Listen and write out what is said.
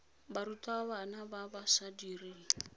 barutwana ba ba sa direng